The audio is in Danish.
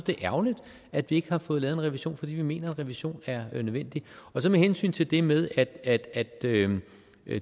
det er ærgerligt at vi ikke har fået lavet en revision for vi mener at en revision er nødvendig så med hensyn til det med